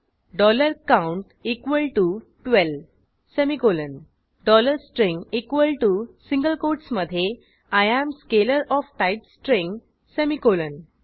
count 12 semicolon string सिंगल कोटसमधे I am scalar of type string semicolon